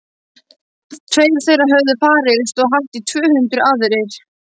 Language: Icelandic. Tveir þeirra höfðu farist og hátt í tvö hundruð aðrir.